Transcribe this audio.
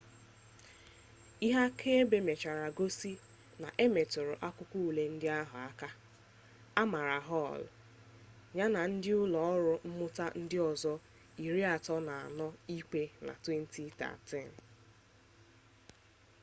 ihe akaebe mechara gosi na emetụrụ akwụkwọ ule ndị ahụ aka a mara hall ya na ndị ụlọ ọrụ mmụta ndị ọzọ 34 ikpe na 2013